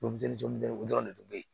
Boli jɔnden o dɔrɔn de don bɛ yen